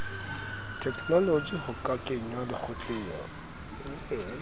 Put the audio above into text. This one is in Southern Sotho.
theknoloji ho ka kenngwa lekgotleng